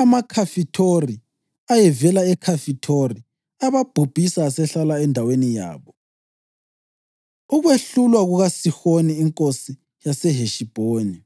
amaKhafithori ayevela eKhafithori ababhubhisa asehlala endaweni yabo.) Ukwehlulwa KukaSihoni Inkosi YaseHeshibhoni